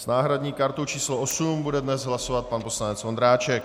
S náhradní kartou číslo 8 bude dnes hlasovat pan poslanec Vondráček.